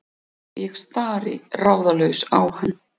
Ég stari ráðalaus á hann.